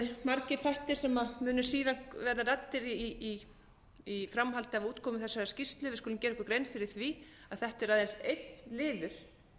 margir þættir sem munu síðar verða ræddir í framhaldi af útkomu þessarar skýrslu við skulum gera okkur grein fyrir því að þetta er aðeins einn liður í þessu stóra máli